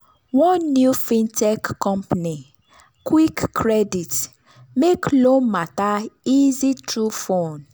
one new fintech company quickcredit make loan matter easy through phone.